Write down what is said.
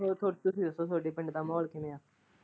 ਹੋਰ ਥੋਡੇ ਤੁਸੀਂ ਦੱਸੋ ਤੁਹਾਡੇ ਪਿੰਡ ਦਾ ਮਾਹੋਲ ਕਿਵੇਂ?